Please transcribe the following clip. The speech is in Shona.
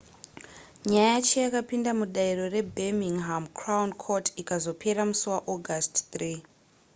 nyaya yacho yakapinda mudare rebirminghama crown court ikazopera musi waaugust 3